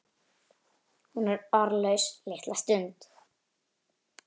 Hún er orðlaus litla stund.